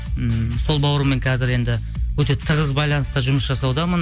ммм сол бауырыммен қазір енді өте тығыз байланыста жұмыс жасаудамын